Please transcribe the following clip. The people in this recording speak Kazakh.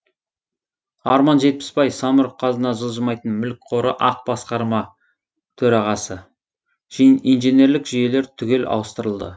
арман жетпісбай самұрық қазына жылжымайтын мүлік қоры ақ басқарма төрағасы инженерлік жүйелер түгел ауыстырылды